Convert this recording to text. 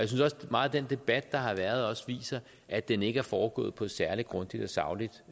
meget af den debat der har været viser at den ikke er foregået på et særlig grundigt og sagligt